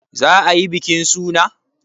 Za ayi bikin suna?